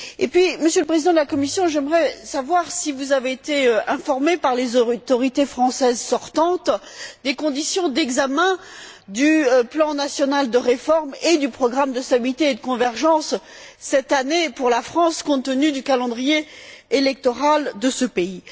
Par ailleurs, Monsieur le Président de la Commission, j'aimerais savoir si vous avez été informé par les autorités françaises sortantes des conditions d'examen du plan national de réforme et du programme de stabilité et de convergence cette année, pour la France, compte tenu du calendrier électoral de ce pays.